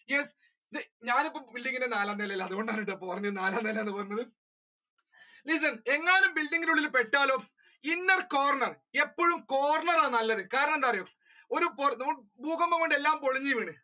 Yes ഞാനിപ്പോ building ന്റെ നാലാം നിലയിലാ അതുകൊണ്ടാണ് ട്ടോ അപ്പൊ നാലാം നില എന്നുപറഞ്ഞത് listen എങ്ങാനും building ന്റെ ഉള്ളിൽ പെട്ടാലോ inner corner എപ്പഴും corner ആണ് നല്ലത് കാരണം എന്താന്നറിയോ ഒരു പൊർ, നമ്, ഭൂകമ്പം കൊണ്ട് എല്ലാം പൊളിഞ്ഞു വീണു.